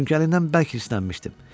Çünki əlindən bərk hırsənmişdim.